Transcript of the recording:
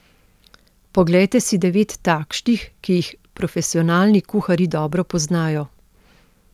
Poglejte si devet takšnih, ki jih profesionalni kuharji dobro poznajo.